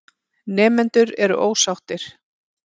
Nemendur eru ósáttir.